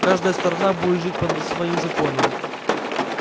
каждая сторона будет жить под своим законам